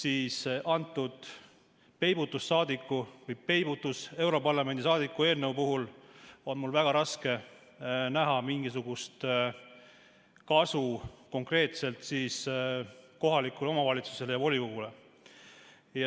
Aga selle peibutussaadiku või europarlamendi peibutussaadiku eelnõu puhul on mul väga raske näha mingisugust kasu konkreetselt kohalikule omavalitsusele ja volikogule.